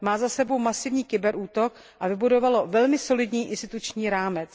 Má za sebou masivní kybernetický útok a vybudovalo velmi solidní instituční rámec.